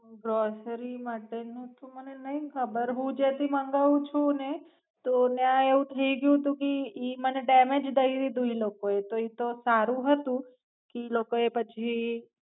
Grocery માટેનું તો મને નઈ ખબર હું જ્યાંથી મંગાવું છું ને તો ન્યાં એવું થઇગયું તું કી ઈ મને ડેમેજ દયદીધું ઈ લોકોએ તો ઈ તો સારું હતું કી ઈ લોકોએ પછી.